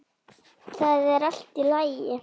Það er allt í lagi